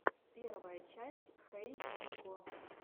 первая часть хей нико